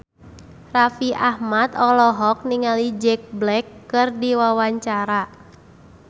Raffi Ahmad olohok ningali Jack Black keur diwawancara